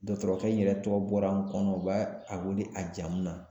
Dɔtɔrɔkɛ in yɛrɛ tɔgɔ bɔra n kɔnɔ, u b'a a wele a jamu na.